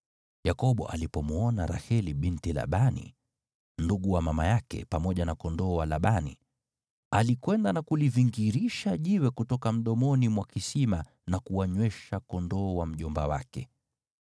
Yakobo alipomwona Raheli binti Labani, ndugu wa mama yake, pamoja na kondoo wa Labani, alikwenda na kulivingirisha jiwe kutoka mdomoni mwa kisima na kuwanywesha kondoo wa mjomba wake.